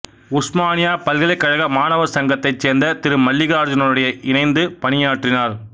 உஸ்மானியா பல்கலைக்கழக மாணவர் சங்கத்தைச்சேர்ந்த திரு மல்லிகார்ஜனுடன் இணைந்து பணியாற்றினார்